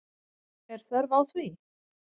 Er þörf á því?